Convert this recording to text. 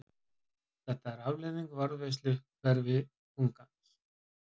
Þetta er afleiðing varðveislu hverfiþungans.